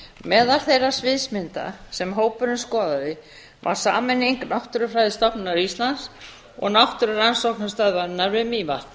meðal þeirra sviðsmynda sem hópurinn skoðaði var sameining náttúrufræðistofnunar íslands og náttúrurannsóknastöðvarinnar við mývatn